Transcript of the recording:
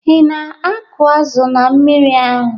Ị na-akụ azụ na mmiri ahụ?